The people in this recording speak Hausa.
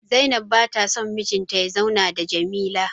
Zainab ba ta son mijinta ya zauna da Jamila